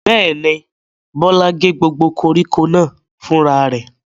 Bẹ́ẹ̀ ni, Bọ́lá gé gbogbo koríko náà fúnra rẹ̀.